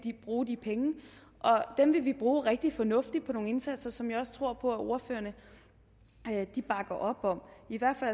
bruge de penge og dem vil vi bruge rigtig fornuftigt på nogle indsatser som jeg også tror ordførerne bakker op om i hvert fald